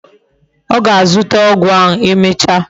O ga-azuta ogwu ahu emecha